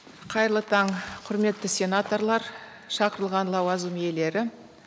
қайырлы таң құрметті сенаторлар шақырылған лауазым иелері